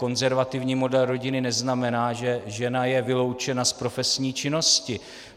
Konzervativní model rodiny neznamená, že je žena vyloučena z profesní činnosti.